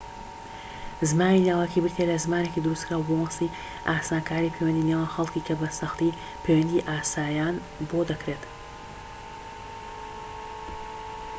زمانی لاوەکی بریتیە لە زمانێکی دروستکراو بە مەبەستی ئاسانکاریی پەیوەندی نێوان خەڵكی کە بە سەختی پەیوەندی ئاساییان بۆ دەکرێت